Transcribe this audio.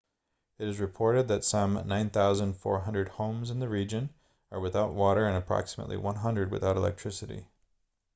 it is reported that some 9400 homes in the region are without water and approximately 100 without electricity